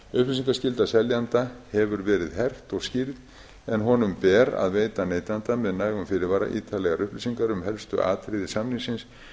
upplýsingaskylda seljanda hefur verið hert og skýrð en honum ber að veita neytanda með nægum fyrirvara ítarlegar upplýsingar um helstu atriði samningsins